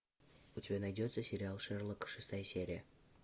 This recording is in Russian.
у тебя найдется сериал шерлок шестая серия